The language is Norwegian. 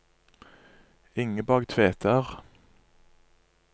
Ingeborg Tveter